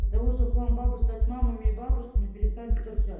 для того чтобы вам быбы стать мамами и бабушками перестаньте торчать